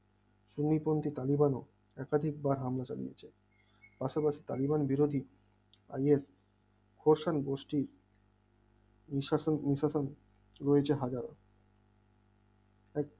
সিনিপন্থী তালিবান একাধিকবার হামলা চালিয়েছে আসলে টালিগঞ্জ বিরোধী আগিয়ে খোরশোনি গোষ্ঠী নিশাসন নিজ শাসন রয়েছে হাজার ও